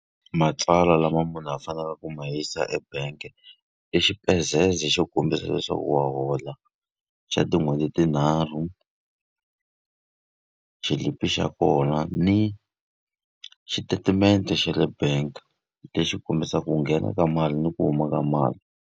Matsalwa lama munhu a fanekeleke ku ma yisa e bank-i xo kombisa leswaku wa hola xa tin'hweti tinharhu, xilipi xa kona ni xitatimende xa le bank lexi kombisaka ku nghena ka mali ni ku huma ka mali.